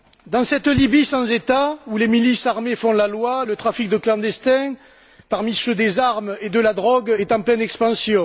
Dans cette Libye sans État, où les milices armées font la loi, le trafic de clandestins, parmi ceux des armes et de la drogue, est en pleine expansion.